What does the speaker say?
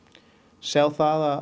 sjá það